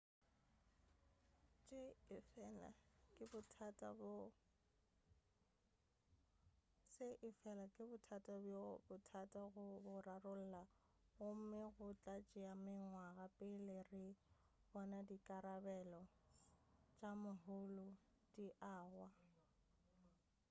se efela ke bothata bjo bothata go bo rarolla gomme go tla tšea mengwaga pele re bona dikarabelo tša moholo di agwa